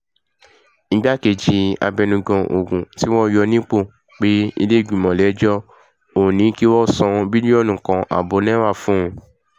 igbákejì abẹnugan ogun tí wọ́n yọ nípò pé ìlẹ̀ẹ́gbìmọ̀ lẹ́jọ́ ò ní kí wọ́n san bílíọ̀nù kan ààbọ̀ náírà fóun